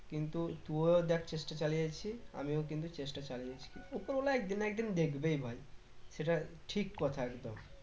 কিন্তু তু ও দেখ চেষ্টা চালিয়ে যাচ্ছিস আমিও কিন্তু চেষ্টা চালিয়ে যাচ্ছি উপরওয়ালা একদিন না একদিন দেখবেই ভাই এটা ঠিক কথা একদম